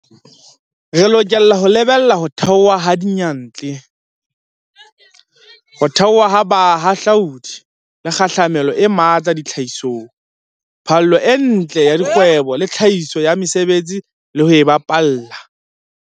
Re lokela ho lebella ho theoha ha diyantle, ho theoha ha bahahlaudi le kgahlamelo e matla tlhahisong, phallo e ntle ya kgwebo le tlhahiso ya mesebetsi le ho e baballa.